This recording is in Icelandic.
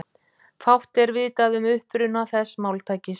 Fátt er vitað um uppruna þessa máltækis.